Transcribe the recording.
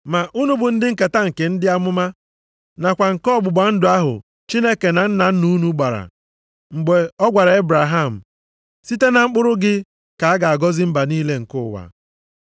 Ma unu bụ ndị nketa nke ndị amụma, nakwa nke ọgbụgba ndụ ahụ Chineke na nna nna unu gbara, mgbe ọ gwara Ebraham, ‘Site na mkpụrụ gị ka a ga-agọzi mba niile nke ụwa.’ + 3:25 \+xt Jen 22:18; 26:4\+xt*